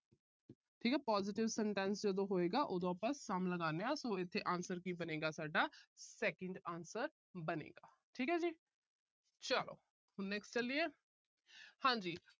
ਠੀਕ ਹੈ। positive sentence ਜਦੋਂ ਹੋਏਗਾ, ਉਦੋਂ ਆਪਾ some ਲਗਾਂਦੇ ਹਾਂ। so ਇੱਥੇ answer ਕੀ ਬਣੇਗਾ ਸਾਡਾ, second answer ਬਣੇਗਾ। ਠੀਕ ਹੈ ਜੀ। ਚਲੋ। next ਚਲੀਏ। ਹਾਂਜੀ।